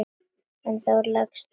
En þá leggst hún veik.